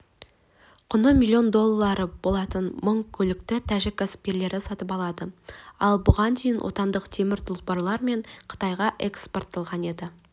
құны миллион доллары болатын мың көлікті тәжік кәсіпкерлері сатып алады ал бұған дейін отандық темір тұлпарлар мен қытайға экспортталған еді